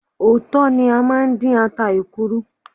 Ọ̀tọ̀ ni a máa ń dín ata èkuru.